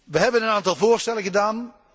Wij hebben een aantal voorstellen gedaan.